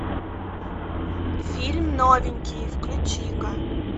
фильм новенький включи ка